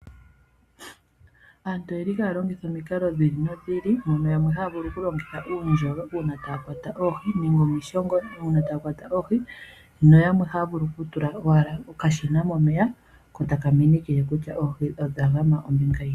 Aantu oyeli haya longitha omikalo dhi ili nodhi ili mono yamwe haya vulu okulongitha uundjolo uuna taya kwata oohi nenge omishongo uuna taya kwata oohi, nayamwe haya vulu owala okutula okashina momeya ko taka minikile kutya oohi odha gama ombinga yini.